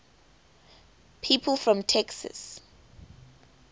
people from texas